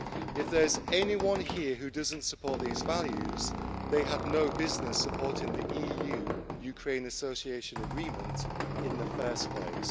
If there's anyone who doesn't support these values, they had no business supporting the EU Ukraine Association Agreement in the first place.